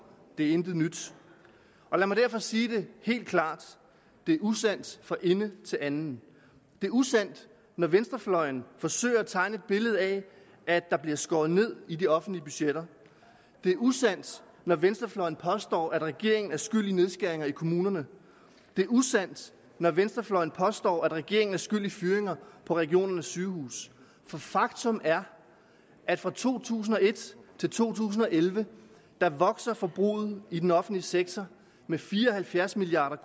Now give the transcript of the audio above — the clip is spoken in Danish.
det er intet nyt lad mig derfor sige det helt klart det er usandt fra ende til anden det er usandt når venstrefløjen forsøger at tegne et billede af at der bliver skåret ned i de offentlige budgetter det er usandt når venstrefløjen påstår at regeringen er skyld i nedskæringer i kommunerne det er usandt når venstrefløjen påstår at regeringen er skyld i fyringer på regionernes sygehuse for faktum er at fra to tusind og et til to tusind og elleve vokser forbruget i den offentlige sektor med fire og halvfjerds milliard